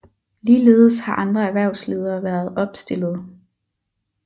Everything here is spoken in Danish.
Ligeledes har andre erhvervsledere været opstillede